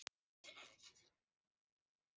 Hafðu engar áhyggjur af mér, vinur!